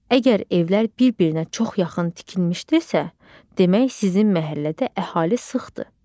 Əgər evlər bir-birinə çox yaxın tikilmişdirsə, demək sizin məhəllədə əhali sıxdır.